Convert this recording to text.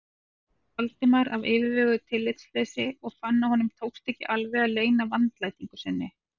Valdimar af yfirveguðu tillitsleysi og fann að honum tókst ekki alveg að leyna vandlætingu sinni.